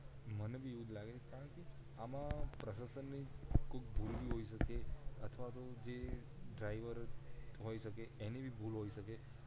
મને ભી એવું જ લાગે છે કારણ કે આમાં પ્રસાસન ની ભૂલ ભી હોય સકે અથવા તો જે ડ્રાઇવર હોય સકે એની ભી ભૂલ હોય સકે